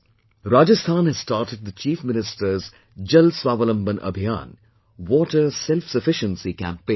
Rajasthan has started the Chief Minister's Jal Swawalamban Abhiyan Water Self Sufficiency Campaign